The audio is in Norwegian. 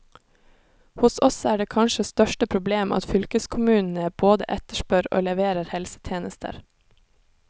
Hos oss er det kanskje største problem at fylkeskommunene både etterspør og leverer helsetjenester.